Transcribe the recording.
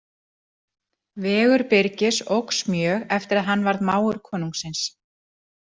Vegur Birgis óx mjög eftir að hann varð mágur konungsins.